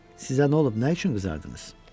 Sizə nə olub, nə üçün qızardınız?